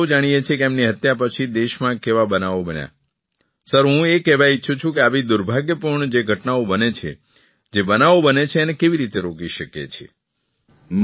અને આપણે સૌ જાણીએ છીએ કે તેમની હત્યા પછી દેશમાં કેવા બનાવો બન્યા સર હું એ કહેવા ઇચ્છું છું કે આવી દુર્ભાગ્યપૂર્ણ જે ઘટનાઓ બને છે જે બનાવો બને છે તેને કેવી રીતે રોકી શકીએ છીએ